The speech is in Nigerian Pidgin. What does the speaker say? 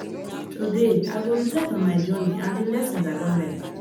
today i go reflect on my journey and di lessons i don learn